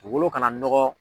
Dugolo kana nɔgɔ.